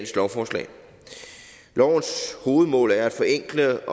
lovforslagets hovedmål er at forenkle